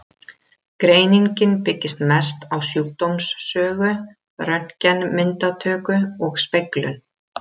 Greiningin byggist mest á sjúkdómssögu, röntgenmyndatöku og speglun.